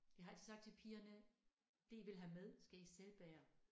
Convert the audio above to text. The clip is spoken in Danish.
Jeg har altid sagt til pigerne det I vil have med skal I selv bære